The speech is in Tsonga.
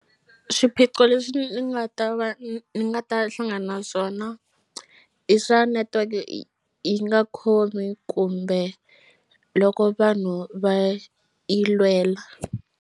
Swiphiqo leswi ni nga ta va ni nga ta hlangana na swona i swa netiweke yi nga khomi kumbe loko vanhu va yi lwela.